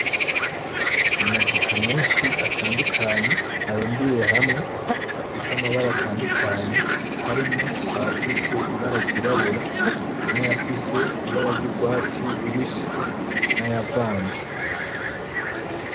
Amavoka menshi atandukanye arundiye hamwe afise amabara atandukanye harimwo ayafise ibara ryirabura nayafise ibara ry’urwatsi rubisi n’ayavanze.